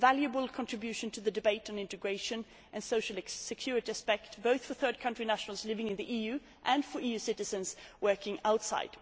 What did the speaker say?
It is a valuable contribution to the debate on integration and the social security aspect, both for third country nationals living in the EU and for EU citizens working outside.